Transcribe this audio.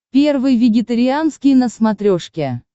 первый вегетарианский на смотрешке